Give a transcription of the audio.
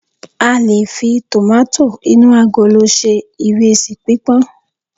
q lè fi tomato inu agolo se iresi pipọn